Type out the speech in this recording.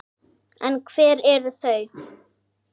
En hver eru þau?